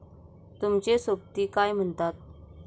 तुमचे सोबती काय म्हणतात